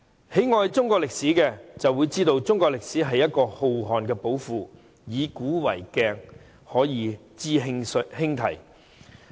喜愛中國歷史的人，會知道中國歷史是一個浩瀚的寶庫，"以古為鏡，可以知興替"。